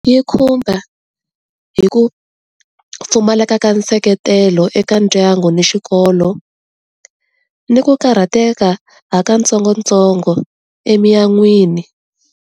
Yi khumba hi ku pfumaleka ka nseketelo eka ndyangu ni xikolo, ni ku karhateka ha ka ntsongo ntsongo emiyan'wini.